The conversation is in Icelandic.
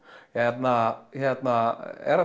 hérna er